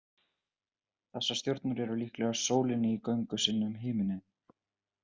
Þessar stjörnur eru líkastar sólinni í göngu sinni um himininn.